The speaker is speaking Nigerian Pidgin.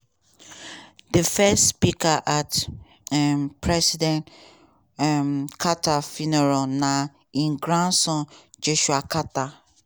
di first speaker at um president um carter funeral na im grandson joshua carter.